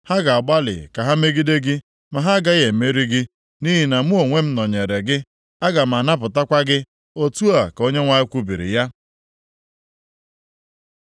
Ha ga-agbalị ka ha megide gị, ma ha agaghị emeri gị. Nʼihi na mụ onwe m nọnyeere gị, aga m anapụtakwa gị.” Otu ka Onyenwe anyị kwubiri ya.